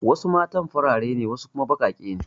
Wasu matan farare ne wasu kuma baƙaƙe ne.